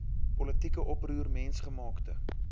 politieke oproer mensgemaakte